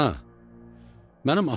Ana, mənim atam varmı?